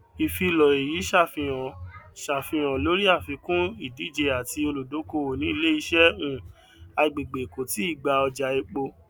ìfilọ èyí ṣàfíhan ṣàfíhan lórí àfikún ìdíje àti olùdókòwò ní ilé iṣẹ um agbègbè kò tíì gba ọjà epo